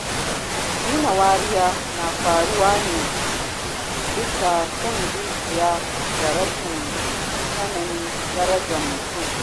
Nuna wariya na faruwa ne bisa son zuciya da rashin sanin darajar mutum